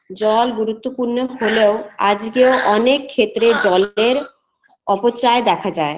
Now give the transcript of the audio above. জল গুরুত্বপূর্ণ হলেও আজগেও অনেক ক্ষেত্রে জলের অপচায় দেখা যায়